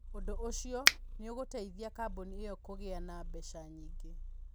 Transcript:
Ũndũ ũcio nĩ ũgũteithia kambuni ĩyo kũgĩa na mbeca nyingĩ.